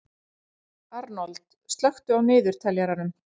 Arnold, slökktu á niðurteljaranum.